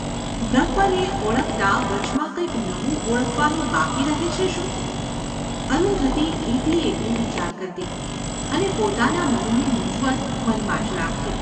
બ્રહ્મને ઓળખતાં વચમાં કંઈ નવું ઓળખવાનું બાકી રહે છે શું ? અરુંધતી એકલી એકલી વિચાર કરતી, અને પોતાના મનની મૂંઝવણ મનમાં જ રાખતી.